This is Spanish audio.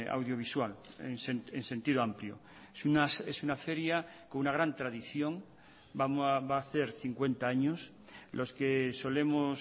audiovisual en sentido amplio es una feria con una gran tradición va a hacer cincuenta años los que solemos